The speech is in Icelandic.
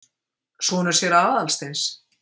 Sonur séra Aðalsteins?